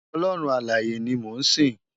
Òlòrún Àláyé ni mó n sin